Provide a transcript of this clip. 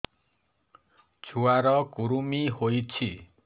ଛୁଆ ର କୁରୁମି ହୋଇଛି